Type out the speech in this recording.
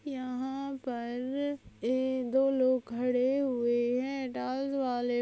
यहाँ पर अ दो लोग खडे हुए है --